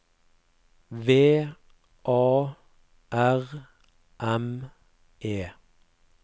V A R M E